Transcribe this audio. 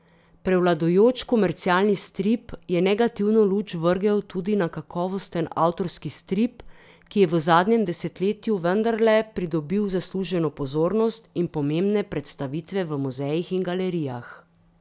Prevladujoč komercialni strip je negativno luč vrgel tudi na kakovosten avtorski strip, ki je v zadnjem desetletju vendarle pridobil zasluženo pozornost in pomembne predstavitve v muzejih in galerijah.